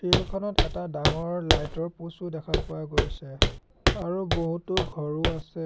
Field খনত এটা ডাঙৰ লাইট ৰ পোচ ও দেখা পোৱা গৈছে আৰু বহুতো ঘৰো আছে।